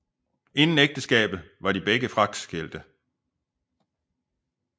Inden ægteskabet var de begge fraskilte